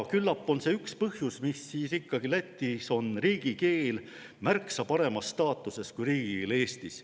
Küllap on see üks põhjus, miks siis ikkagi Lätis on riigikeel märksa paremas staatuses kui riigikeel Eestis.